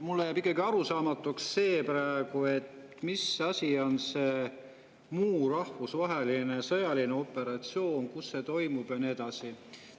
Mulle jääb praegu ikkagi arusaamatuks, mis asi on see muu rahvusvaheline sõjaline operatsioon, kus see toimub ja nii edasi.